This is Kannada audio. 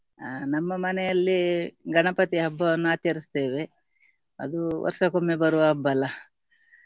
ಅಹ್ ನಮ್ಮ ಮನೆಯಲ್ಲಿ ಗಣಪತಿ ಹಬ್ಬವನ್ನ ಆಚರಿಸುತ್ತೇವೆ ಅದು ವರ್ಷಕ್ಕೊಮ್ಮೆ ಬರುವ ಹಬ್ಬಲ್ಲ.